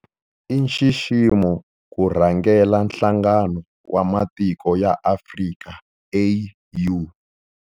I nxiximo ku rhangela Nhlangano wa Matiko ya Afrika, AU.